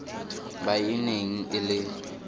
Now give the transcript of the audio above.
ba e neng e le